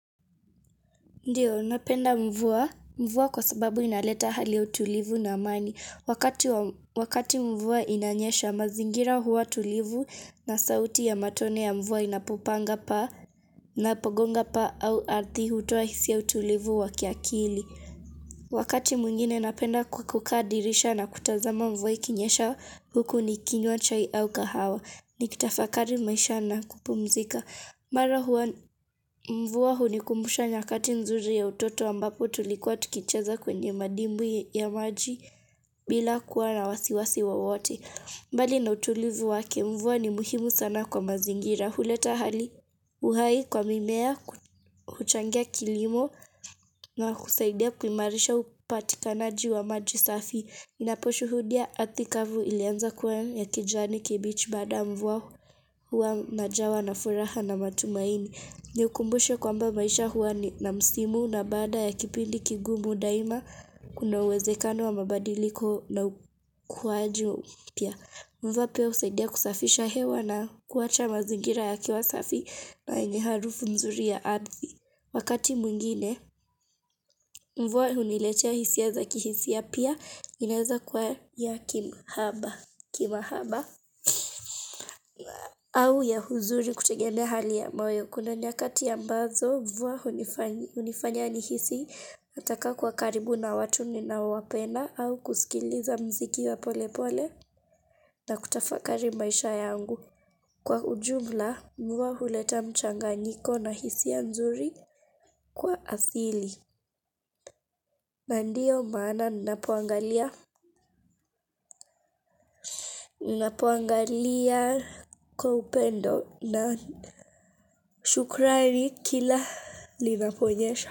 Ndiyo, napenda mvua mvua kwa sababu inaleta hali ya utulivu na amani wakati wa Wakati mvua inanyesha mazingira huwa tulivu na sauti ya matone ya mvua inapopanga pa na pogonga pa au ardhi hutoa hisia ya utulivu wa kiakili. Wakati mwingine napenda ku kukaa dirisha na kutazama mvua ikinyesha huku nikinywa chai au kahawa. Nikitafakari maisha na kupumzika. Mara huwa mvua hu ni kumbusha nyakati nzuri ya utoto ambapo tulikuwa tukicheza kwenye madimbwi ya maji bila kuwa na wasiwasi wowote. Mbali na utulivu wake mvua ni muhimu sana kwa mazingira. Huleta hali uhai kwa mimea kuchangia kilimo na kusaidia kuimarisha upatikanaji wa maji safi. Inaposhuhudia ardhi kavu ilianza kuwa ya kijani kibichi baada ya mvua huwa najawa na furaha na matumaini. Nikumbushe kwamba maisha huwa na msimu na baada ya kipindi kigumu daima kuna uwezekano wa mabadiliko na kuwaju pia. Mvua pia husaidia kusafisha hewa na kuwacha mazingira yakiwa safi na yenye harufu mzuri ya ardhi. Wakati mwingine, mvua huniletea hisia za kihisia pia inaeza kwa ya kimahaba au ya huzuri kutegemea hali ya maweo kuna nyakati ambazo mvua hunifanya nihisi nataka kuwa karibu na watu ni na wapenda au kusikiliza mziki wa pole pole na kutafakari maisha yangu. Kwa ujumla, mvua huleta mchanganyiko na hisia nzuri kwa asili. Na ndiyo maana ninapuangalia kwa upendo na shukrani kila linaponyesha.